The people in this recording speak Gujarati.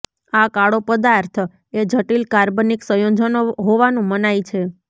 આ કાળો પદાર્થ એ જટિલ કાર્બનિક સંયોજનો હોવાનું મનાય છે